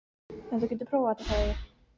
En þú getur prófað þetta, sagði ég.